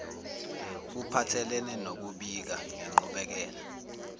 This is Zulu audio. kuphathelene nokubika ngenqubekela